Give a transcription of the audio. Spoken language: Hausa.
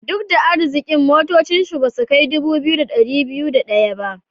Duk da arzikin, motocin shi basu kai dubu biyu da dari biyu da daya ba.